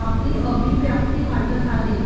आपली अभिव्यक्ती वाटत आहे